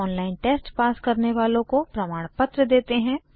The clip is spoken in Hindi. ऑनलाइन टेस्ट पास करने वालों को प्रमाणपत्र देते हैं